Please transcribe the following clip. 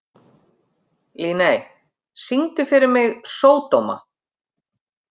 Líney, syngdu fyrir mig „Sódóma“.